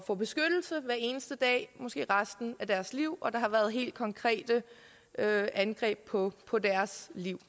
få beskyttelse hver eneste dag måske i resten af deres liv og der har været helt konkrete angreb på på deres liv